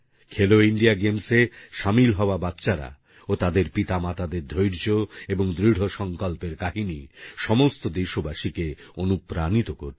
খেলো ইন্ডিয়া গেমসের শামিল হওয়া বাচ্চারা ও তাদের পিতামাতাদের ধৈর্য এবং দৃঢ় সংকল্পের কাহিনী সমস্ত দেশবাসীকে অনুপ্রাণিত করবে